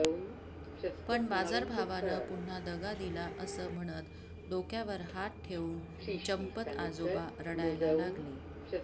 पण बाजारभावानं पुन्हा दगा दिला असं म्हणत डोक्यावर हात ठेवून चंपत आजोबा रडायला लागले